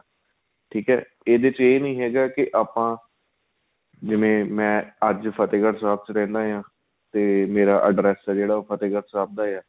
ਠੀਕ ਏ ਇਹਦੇ ਵਿੱਚ ਏ ਨਹੀਂ ਹੈਗਾ ਕੀ ਆਪਾਂ ਜਿਵੇਂ ਮੈਂ ਅੱਜ ਫਤਿਹਗੜ੍ਹ ਸਾਹਿਬ ਵੀ ਰਹਿੰਦਾ ਹਾਂ ਤੇ ਮੇਰਾ address ਏ ਜਿਹੜਾ ਫਤਿਹਗੜ੍ਹ ਸਾਹਿਬ ਦਾ ਹੈ